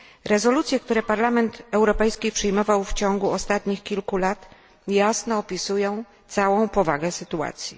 Rezolucje, które Parlament Europejski przyjmował w ciągu ostatnich kilku lat, jasno opisują całą powagę sytuacji.